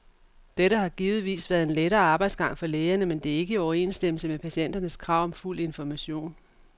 Dette har givetvis været en lettere arbejdsgang for lægerne, men det er ikke i overensstemmelse med patienternes krav om fuld information.